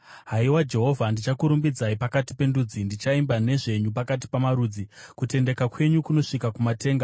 Haiwa Jehovha ndichakurumbidzai pakati pendudzi; ndichaimba nezvenyu pakati pamarudzi. Kutendeka kwenyu kunosvika kumatenga.